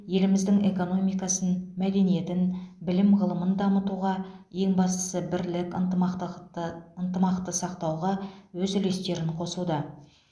еліміздің экономикасын мәдениетін білім ғылымын дамытуға ең бастысы бірлік ынтымақтақтықты ынтымақты сақтауға өз үлестерін қосуда